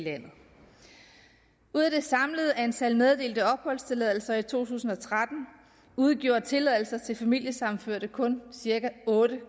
i landet ud af det samlede antal meddelte opholdstilladelser i to tusind og tretten udgjorde tilladelser til familiesammenførte kun cirka otte